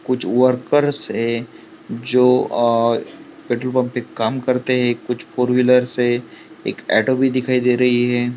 कुछ वर्कर्स है जो आह पेट्रोल पम्प पे काम करते है कुछ फोर व्हीलर्स है एक ऑटो भी दिखाई दे रही है।